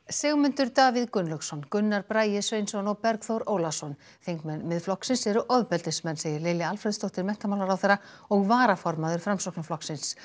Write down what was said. Sigmundur Davíð Gunnlaugsson Gunnar Bragi Sveinsson og Bergþór Ólason þingmenn Miðflokksins eru ofbeldismenn segir Lilja Alfreðsdóttir menntamálaráðherra og varaformaður Framsóknarflokksins